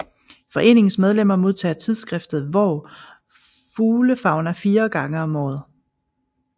Foreningens medlemmer modtager tidsskriftet Vår Fuglefauna fire gange om året